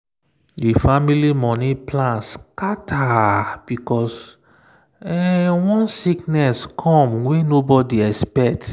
the family money plan scatter because one sickness come wey nobody expect